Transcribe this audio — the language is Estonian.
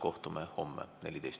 Kohtume homme kell 14.